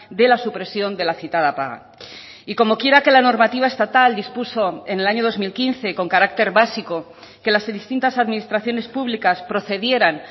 de la supresión de la citada paga y como quiera que la normativa estatal dispuso en el año dos mil quince con carácter básico que las distintas administraciones públicas procedieran